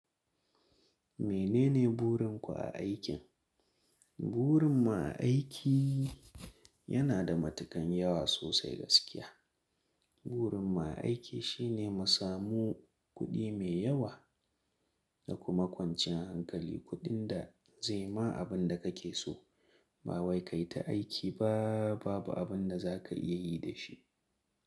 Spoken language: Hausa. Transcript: Menene burin ku a aikin? Burin mu a aiki yana da matukan yawa sosai gaskiya. Burin ma aiki shine musamu kuɗi mai yawa da kuma kwanciyar hankali, kuɗin da zai ma abin da kake so. Ba wai ka yi ta aiki ba babu abin da za ka iya yi da shi.